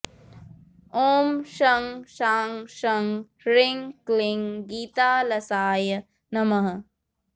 ॐ शं शां षं ह्रीं क्लीं गीतालसाय नमः